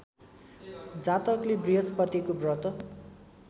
जातकले बृहस्पतिको व्रत